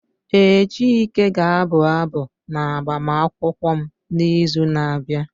Ee, Chike ga-abụ abụ n'agbamakwụkwọ m n'izu na-abịa.